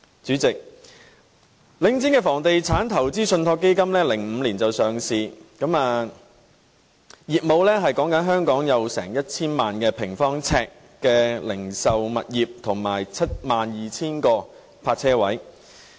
主席，領匯於2005年上市，業務是香港約 1,000 萬平方呎的零售物業和 72,000 個泊車位。